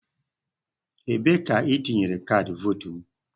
Ebee ka I tinyere kaadị Votu m?